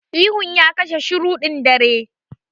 Ihun ya katse shirun ɗin daren.